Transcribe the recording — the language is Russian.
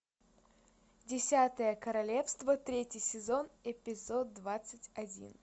десятое королевство третий сезон эпизод двадцать один